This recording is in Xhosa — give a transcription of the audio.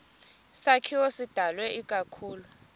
sakhiwo sidalwe ikakhulu